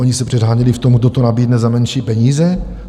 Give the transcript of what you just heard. Oni se předháněli v tom, kdo to nabídne za menší peníze.